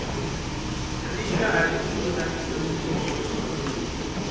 ri karhi u lulamisa swihoxo